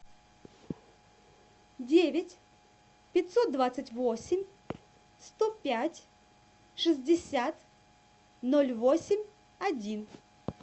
девять пятьсот двадцать восемь сто пять шестьдесят ноль восемь один